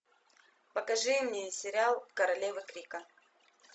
покажи мне сериал королева крика